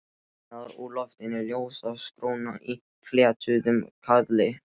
Neðan úr loftinu ljósakróna í fléttuðum kaðli.